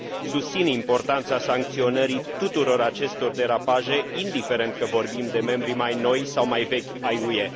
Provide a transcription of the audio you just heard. Susțin importanța sancționării tuturor acestor derapaje, indiferent că vorbim de membri mai noi sau mai vechi ai UE.